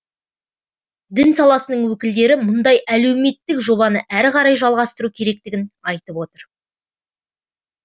дін саласының өкілдері мұндай әлеуметтік жобаны әрі қарай жалғастыру керектігін айтып отыр